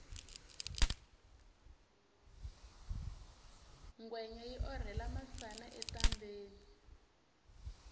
ngwenya yi orhela masana etambheni